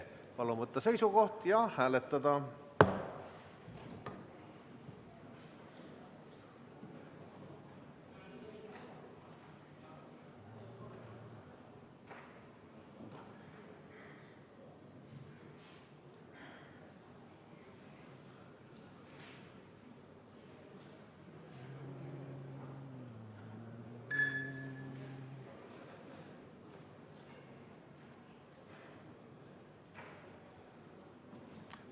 Palun võtta seisukoht ja hääletada!